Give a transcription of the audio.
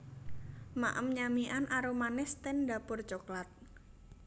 Maem nyamikan arumanis ten Dapur Coklat